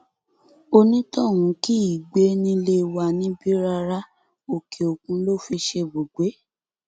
onítọhún kì í gbé nílé wa níbí rárá òkèòkun ló fi ṣe ibùgbé